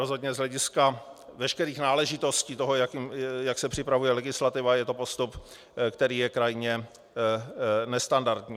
Rozhodně z hlediska veškerých náležitostí toho, jak se připravuje legislativa, je to postup, který je krajně nestandardní.